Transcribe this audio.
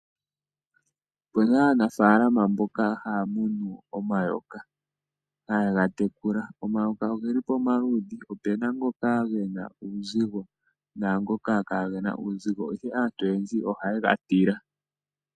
Opuna aanafalama mboka haya munu omayoka, haye ga tekula. Omayoka ogeli pomaludhi. Opuna ngoka gena uuzigo naa ngoka kaa gena uuzigo, ihe aantu oyendji oha ye ga tila.